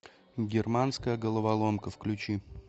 германская головоломка включи